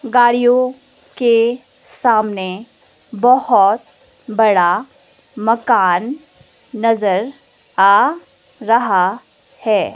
गाड़ियों के सामने बहोत बड़ा मकान नजर आ रहा है।